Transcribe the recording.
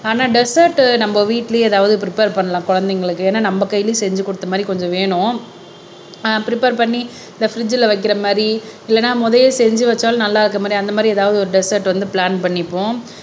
ஆனா டெஸெர்ட் நம்ம வீட்டிலேயே ஏதாவது பிரபேர் பண்ணலாம் குழந்தைங்களுக்கு ஏன்னா நம்ம கையிலேயும் செஞ்சு கொடுத்த மாதிரி கொஞ்சம் வேணும் அஹ் பிரபேர் பண்ணி இந்த பிரிட்ஜ்ல வைக்கிற மாதிரி இல்லைன்னா முதல்லயே செஞ்சு வச்சாலும் நல்லா இருக்கிற மாதிரி அந்த மாதிரி ஏதாவது ஒரு டெஸெர்ட் வந்து பிளான் பண்ணிப்போம்